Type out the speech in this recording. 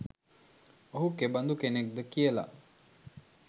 ඔහු කෙබඳු කෙනෙක්ද කියලා